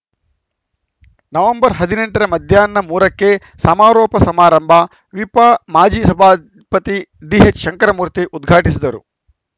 November ಹದಿನೆಂಟ ರ ಮಧ್ಯಾಹ್ನ ಮೂರ ಕ್ಕೆ ಸಮಾರೋಪ ಸಮಾರಂಭ ವಿಪ ಮಾಜಿ ಸಭಾಪತಿ ಡಿಎಚ್‌ಶಂಕರಮೂರ್ತಿ ಉದ್ಘಾಟಿಸುವರು